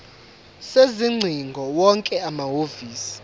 sezingcingo wonke amahhovisi